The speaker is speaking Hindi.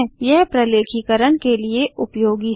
यह प्रलेखीकरण के लिए उपयोगी है